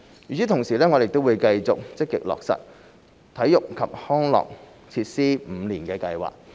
與此同時，我們亦會繼續積極落實體育及康樂設施五年計劃。